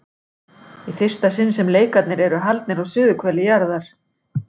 Í fyrsta sinn sem leikarnir eru haldnir á suðurhveli jarðar.